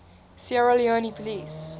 sierra leone police